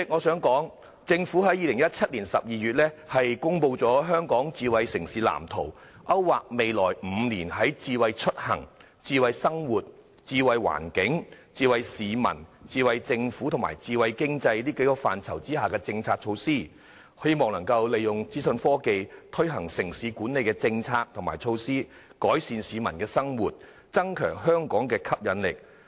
主席，政府在2017年12月公布《香港智慧城市藍圖》，勾劃未來5年在智慧出行、智慧生活、智慧環境、智慧市民、智慧政府和智慧經濟6個範疇下推行的政策和措施，希望能夠利用資訊科技推行城市管理政策與措施，改善市民的生活，並增強香港的吸引力。